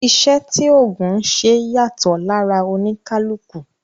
Iṣẹ́ tí ògùn ń ṣe yàtọ̀ lára oníkálukú